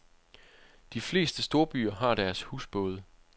De fleste storbyer har deres husbåde.